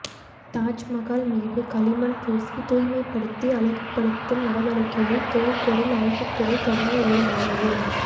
தாஜ்மகால் மீது களிமண் பூசி தூய்மைப்படுத்தி அழகுபடுத்தும் நடவடிக்கையை தொல் பொருள் ஆய்வுத்துறை தொடங்க உள்ளதாகவும்